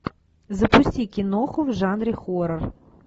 запусти киноху в жанре хоррор